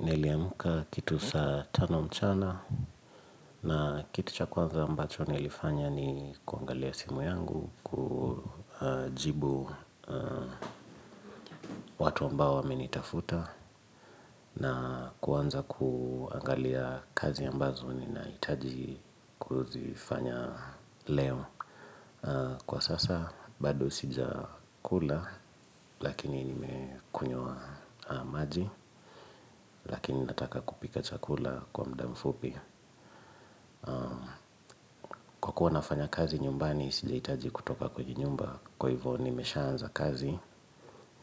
Niliamka kitu saa tano mchana na kitu cha kwanza ambacho nilifanya ni kuangalia simu yangu kujibu watu ambao wamenitafuta na kuanza kuangalia kazi ambazo ninahitaji kuzifanya leo Kwa sasa bado sija kula lakini nimekunywa maji Lakini nataka kupika cha kula kwa muda mfupi Kwa kuwa nafanya kazi nyumbani, sija hitaji kutoka kwenye nyumba Kwa hivyo nimeshaanza kazi,